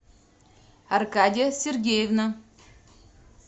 аркадия сергеевна